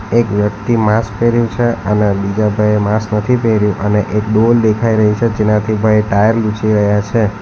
એક વ્યક્તિ માસ્ક પહેર્યું છે અને બીજા ભાઈએ માસ્ક નથી પહેર્યું અને એક ડોલ દેખાઈ રહી છે જેનાથી ભાઈ ટાયર લૂછી રહ્યા છે.